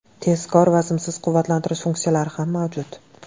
Tezkor va simsiz quvvatlantirish funksiyalari ham mavjud.